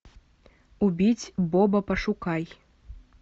убить боба пошукай